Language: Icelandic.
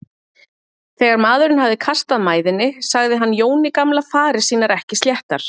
Þegar maðurinn hafði kastað mæðinni sagði hann Jóni gamla farir sínar ekki sléttar.